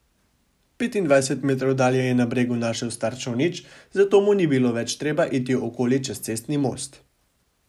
Petindvajset metrov dalje je na bregu našel star čolnič, zato mu ni bilo več treba iti okoli čez cestni most.